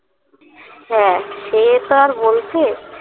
হ্যাঁ সে তো আর বলতে